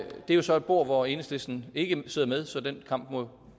er jo så et bord hvor enhedslisten ikke sidder med så den kamp må